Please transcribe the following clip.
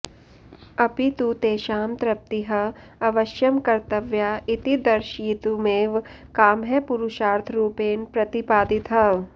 अपि तु तेषां तृप्तिः अवश्यं कर्तव्या इति दर्शयितुमेव कामः पुरुषार्थरुपेण प्रतिपादितः